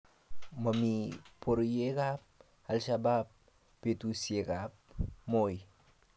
mamii boryekab Alshabaab betusiekab Moi